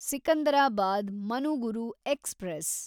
Secunderabad Manuguru express